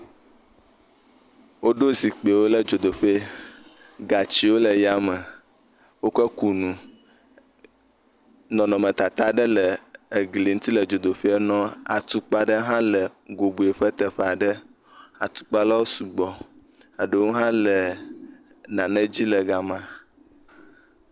Woɖo zikpuiwo ɖe dzodoƒe. gatsiwo le yame. Wokoe kunu. Nɔnɔme tata aɖe le wokɔe ku gli ŋuti le dzodoƒe nɔ. Atukpa aɖe hã le dzodoƒe ƒe teƒe aɖe. atukpa aɖewo sugbɔ. Eɖewo hã le nane dzi le gama.